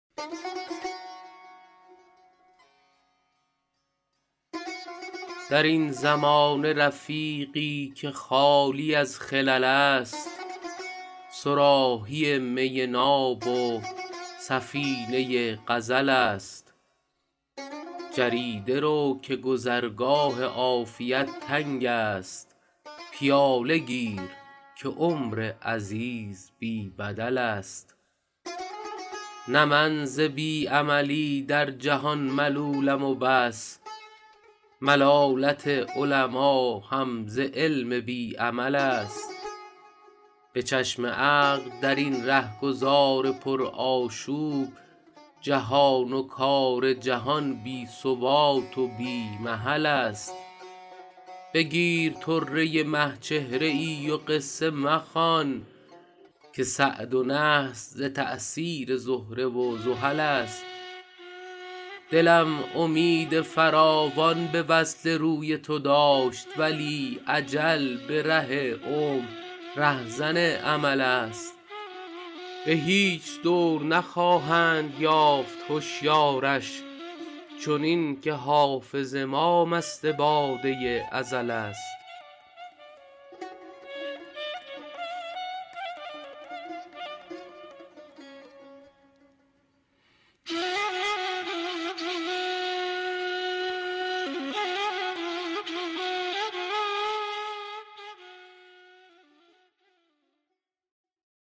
در این زمانه رفیقی که خالی از خلل است صراحی می ناب و سفینه غزل است جریده رو که گذرگاه عافیت تنگ است پیاله گیر که عمر عزیز بی بدل است نه من ز بی عملی در جهان ملولم و بس ملالت علما هم ز علم بی عمل است به چشم عقل در این رهگذار پرآشوب جهان و کار جهان بی ثبات و بی محل است بگیر طره مه چهره ای و قصه مخوان که سعد و نحس ز تأثیر زهره و زحل است دلم امید فراوان به وصل روی تو داشت ولی اجل به ره عمر رهزن امل است به هیچ دور نخواهند یافت هشیارش چنین که حافظ ما مست باده ازل است